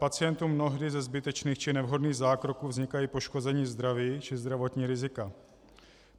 Pacientům mnohdy ze zbytečných či nevhodných zákroků vznikají poškození zdraví či zdravotní rizika.